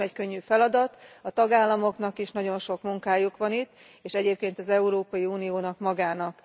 Ez nem egy könnyű feladat, a tagállamoknak is nagyon sok munkájuk van itt, és egyébként az Európai Uniónak magának.